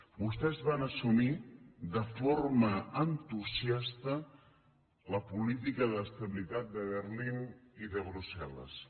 vostès van assumir de forma entusiasta la política d’estabilitat de berlín i de brussel·les